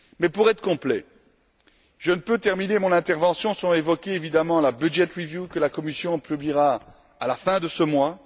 Pour être complet, je ne peux terminer mon intervention sans évoquer la budget review que la Commission publiera à la fin de ce mois.